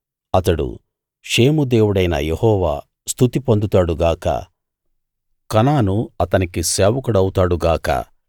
అతడు షేము దేవుడైన యెహోవా స్తుతి పొందుతాడు గాక కనాను అతనికి సేవకుడవుతాడు గాక